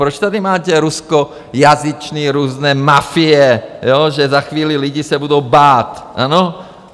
Proč tady máte ruskojazyčné různé mafie, že za chvíli lidi se budou bát, ano?